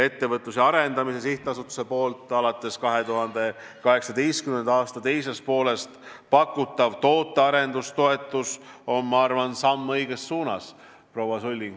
Ettevõtluse Arendamise Sihtasutuse alates 2018. aasta teisest poolest pakutav tootearenduse toetus on, ma arvan, samm õiges suunas, proua Sulling.